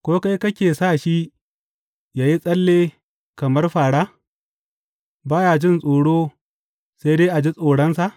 Ko kai kake sa shi yă yi tsalle kamar fāra, ba ya jin tsoro sai dai a ji tsoronsa.